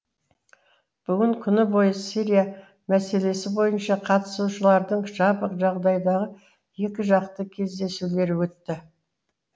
бүгін күні бойы сирия мәселесі бойынша қатысушылардың жабық жағдайдағы екіжақты кездесулері өтті